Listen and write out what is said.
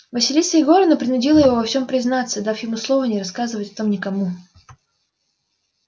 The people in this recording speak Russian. василиса егоровна принудила его во всём признаться дав ему слово не рассказывать о том никому